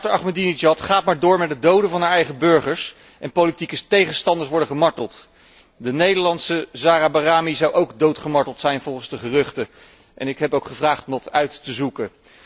Dictator Ahmadinejad gaat maar door met het doden van zijn eigen burgers en politieke tegenstanders worden gemarteld. De Nederlandse Zahra Bahrami zou ook doodgemarteld zijn volgens de geruchten en ik heb gevraagd dat uit te zoeken.